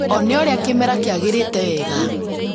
One ũrĩa kĩmera kĩagĩrĩte wega